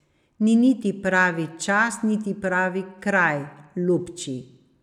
Ni niti pravi čas niti pravi kraj, lubči.